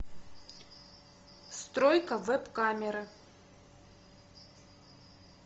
стройка веб камеры